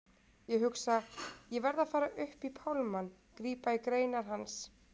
Ég hugsa: Ég verð að fara upp í pálmann, grípa í greinar hans.